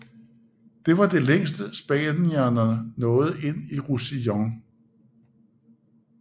Det var det længste spanierne nåede ind i Roussillon